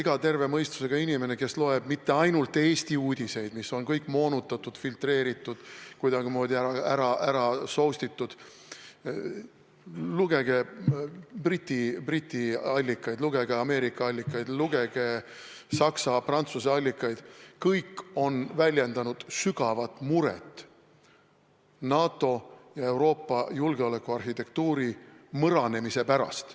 Kõik terve mõistusega inimesed, kes ei loe mitte ainult Eesti uudiseid, mis on kõik moonutatud, filtreeritud, kuidagimoodi ärasoustitud , kõik nad on väljendanud sügavat muret NATO ja Euroopa julgeolekuarhitektuuri mõranemise pärast.